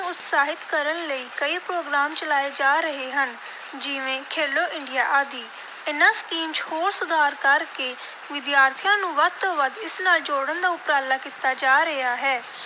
ਉਤਸ਼ਾਹਿਤ ਕਰਨ ਲਈ ਕਈ program ਚਲਾਏ ਜਾ ਰਹੇ ਹਨ, ਜਿਵੇਂ ਖੇਲੋ ਇੰਡੀਆ ਆਦਿ। ਇਨ੍ਹਾਂ ਸਕੀਮ ਚ ਹੋਰ ਸੁਧਾਰ ਕਰ ਕੇ ਵਿਦਿਆਰਥੀਆਂ ਨੂੰ ਵੱਧ ਤੋਂ ਵੱਧ ਇਸ ਨਾਲ ਜੋੜਨ ਦਾ ਉਪਰਾਲਾ ਕੀਤਾ ਜਾ ਰਿਹਾ ਹੈ,